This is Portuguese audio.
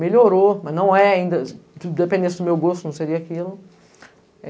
Melhorou, mas não é ainda, independente do meu gosto, não seria aquilo.